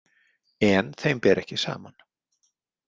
En þeim ber ekki saman.